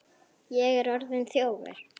Ég er orðinn þjófur.